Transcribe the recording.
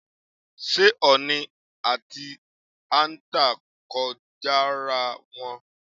S̩é ò̩ò̩nì àti àǹtà kò jo̩ra wo̩n?